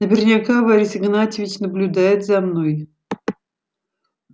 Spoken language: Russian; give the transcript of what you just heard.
наверняка борис игнатьевич наблюдает за мной